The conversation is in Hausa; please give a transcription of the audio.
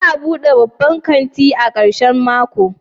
Za a bude babban kanti a karshen mako?